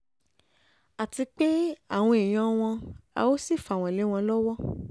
a ti pe àwọn èèyàn wọn a ó um sì fà wọ́n lé wọn lọ́wọ́ um